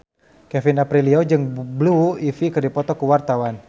Kevin Aprilio jeung Blue Ivy keur dipoto ku wartawan